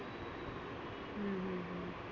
हम्म